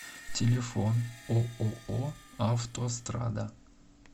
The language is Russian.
телефон ооо автострада